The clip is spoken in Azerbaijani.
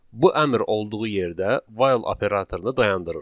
Bu əmr olduğu yerdə 'while' operatorunu dayandırır.